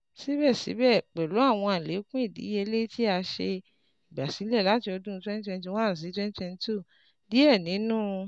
Sibẹsibẹ, pẹlu awọn alekun idiyele ti a ṣe igbasilẹ lati ọdun twenty twenty one si twenty twenty two, diẹ ninu